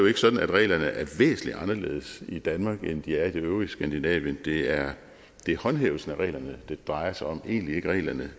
ikke sådan at reglerne er væsentlig anderledes i danmark end de er i det øvrige skandinavien det er håndhævelsen af reglerne det drejer sig om og egentlig ikke reglerne